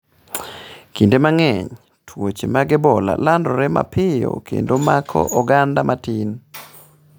Kinde mang’eny, tuoche mag Ebola landore mapiyo kendo mako oganda matin.